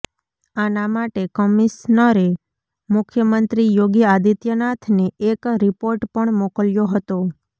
આના માટે કમિશ્નરે મુખ્યમંત્રી યોગી આદિત્યનાથને એક રિપોર્ટ પણ મોકલ્યો હતો